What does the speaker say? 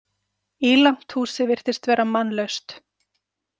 Ílangt húsið virtist vera mannlaust.